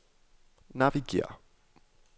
navigér